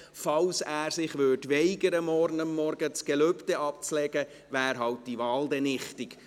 Falls er sich morgen Vormittag weigert, das Gelübde abzulegen, wäre diese Wahl halt dann nichtig.